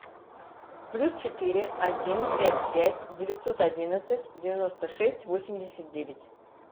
плюс четыре один пять пять девятьсот одиннадцать девяносто шесть восемьдесят девять